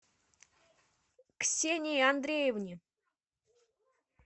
ксении андреевне